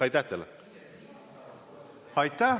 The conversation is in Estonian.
Aitäh teile!